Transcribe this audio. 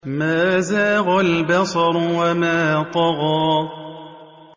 مَا زَاغَ الْبَصَرُ وَمَا طَغَىٰ